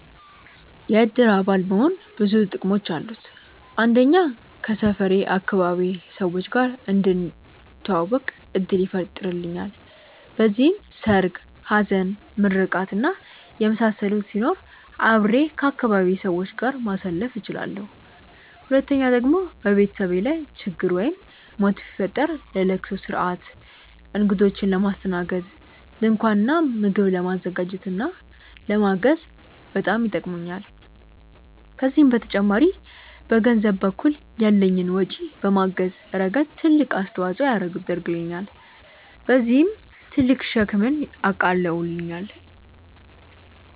የእድር አባል መሆን ብዙ ጥቅሞች አሉት። አንደኛ ከሰፈሬ/ አካባቢዬ ሰዎች ጋር እንድተዋወቅ እድል ይፈጥርልኛል። በዚህም ሰርግ፣ ሀዘን፣ ምርቃት እና የመሳሰሉት ሲኖሩ አብሬ ከአካባቢዬ ሰዎች ጋር ማሳለፍ እችላለሁ። ሁለተኛ ደግሞ በቤተሰቤ ላይ ችግር ወይም ሞት ቢፈጠር ለለቅሶ ስርአት፣ እግዶችን ለማስተናገድ፣ ድንኳን እና ምግብ ለማዘጋጀት እና ለማገዝ በጣም ይጠቅሙኛል። ከዚህም በተጨማሪ በገንዘብ በኩል ያለኝን ወጪ በማገዝ ረገድ ትልቅ አስተዋፅኦ ያደርግልኛል። በዚህም ትልቅ ሸክምን አቃልላለሁኝ።